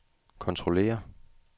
kontrollere